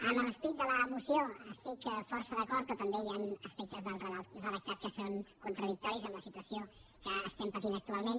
amb l’esperit de la moció hi estic força d’acord però també hi han aspectes del redactat que són contradictoris amb la situació que estem patint actualment